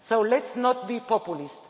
So let's not be populist.